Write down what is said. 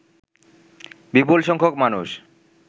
বিপুলসংখ্যক মানুষ